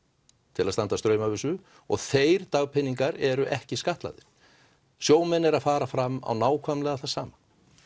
til að standa straum af þessu og þeir dagpeningar eru ekki skattlagðir sjómenn eru að fara fram á það nákvæmlega sama